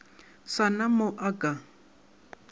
sa na mo a ka